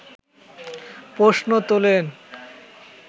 প্রশ্ন তোলেন